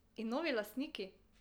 In novi lastniki?